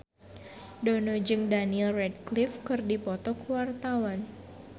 Dono jeung Daniel Radcliffe keur dipoto ku wartawan